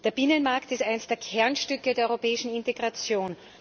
Der Binnenmarkt ist eines der Kernstücke der europäischen Integration.